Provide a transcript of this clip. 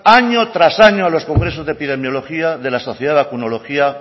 años tras años a los congresos de epidemiologia de la sociedad